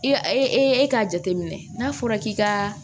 E ka ee e k'a jateminɛ n'a fɔra k'i ka